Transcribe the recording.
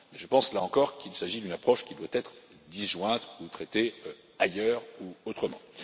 Je pense là encore qu'il s'agit d'une approche qui doit être disjointe ou traitée ailleurs ou autrement.